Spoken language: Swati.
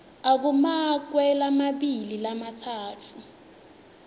akumakwe lamabili lamatsatfu